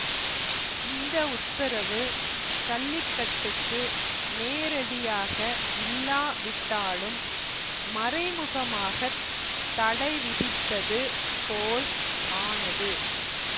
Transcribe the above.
இந்த உத்தரவு சல்லிக்கட்டுக்கு நேரடியாக இல்லாவிட்டாலும் மறைமுகமாகத் தடைவிதித்தது போல் ஆனது